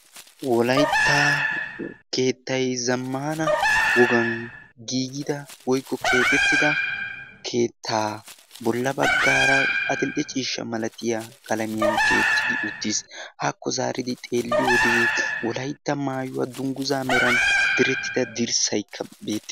Wolaytta keettayi zammaana wogan giigida woykko keexettida keettaa bolla baggaara adill"e ciishsha malatiya qalamiyan tiyettidi uttis. Hàakko zaaridi xeelliyode wolaytta maayuwa dunguzaa meran direttida dirssayikka beette...